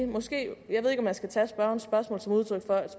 jeg ved ikke om man skal tage spørgerens spørgsmål som udtryk for